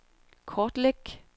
kortlæg